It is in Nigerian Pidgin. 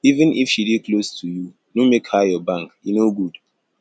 even if she dey close to you no make her your bank e no good